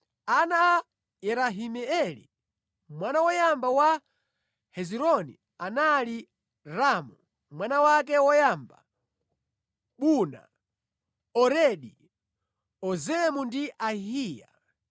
Ana a Yerahimeeli, mwana woyamba wa Hezironi anali: Ramu, mwana wake woyamba, Buna, Oreni, Ozemu ndi Ahiya.